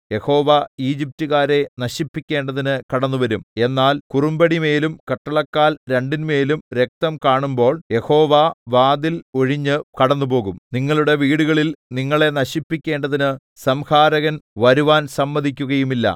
യഹോവ ഈജിപ്റ്റുകാരെ നശിപ്പിക്കേണ്ടതിന് കടന്നുവരും എന്നാൽ കുറുമ്പടിമേലും കട്ടളക്കാൽ രണ്ടിന്മേലും രക്തം കാണുമ്പോൾ യഹോവ വാതിൽ ഒഴിഞ്ഞ് കടന്ന് പോകും നിങ്ങളുടെ വീടുകളിൽ നിങ്ങളെ നശിപ്പിക്കേണ്ടതിന് സംഹാരകൻ വരുവാൻ സമ്മതിക്കുകയുമില്ല